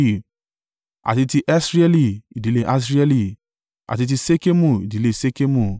àti ti Asrieli, ìdílé Asrieli; àti ti Ṣekemu, ìdílé Ṣekemu;